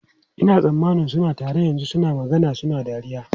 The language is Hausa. Ina tsammanin suna tare yanzu, suna magana suna dariya.